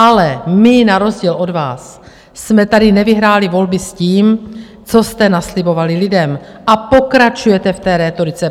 Ale my na rozdíl od vás jsme tady nevyhráli volby s tím, co jste naslibovali lidem, a pokračujete v té rétorice.